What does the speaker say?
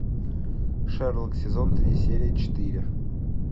шерлок сезон три серия четыре